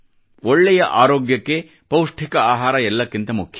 ಒಳ್ಳೆಯ ಆರೋಗ್ಯಕ್ಕೆ ಪೌಷ್ಟಿಕ ಆಹಾರ ಎಲ್ಲಕ್ಕಿಂತ ಮುಖ್ಯ